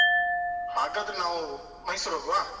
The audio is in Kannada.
ಹಾಗಾದ್ರೆ ನಾವು ಮೈಸೂರ್ ಹೋಗ್ವಾ?